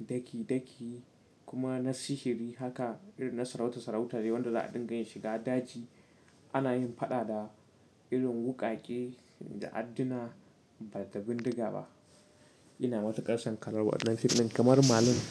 daki daki kuma na sihiri haka irin na sarauta sarauta ne wanda za a dinga yin shiga daji ana yin fada da irin wukake da addina ba da bindiga ba. Ina matuƙar son kallon wannan fim ɗin kamar merlin.